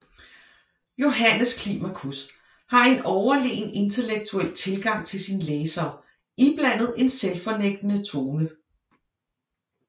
Johannes Climacus har en overlegen intellektuel tilgang til sin læser iblandet en selvfornægtende tone